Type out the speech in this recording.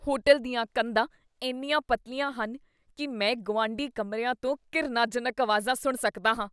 Hotel ਦੀਆਂ ਕੰਧਾਂ ਇੰਨੀਆਂ ਪਤਲੀਆਂ ਹਨ ਕੀ ਮੈਂ ਗੁਆਂਢੀ ਕਮਰਿਆਂ ਤੋਂ ਘਿਰਨਾਜਨਕ ਆਵਾਜ਼ਾਂ ਸੁਣ ਸਕਦਾ ਹਾਂ।